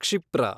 ಕ್ಷಿಪ್ರ